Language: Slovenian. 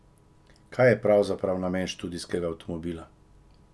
Kaj je pravzaprav namen študijskega avtomobila?